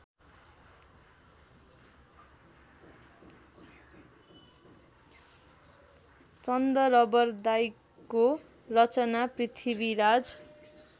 चन्दरबरदाइको रचना पृथ्वीराज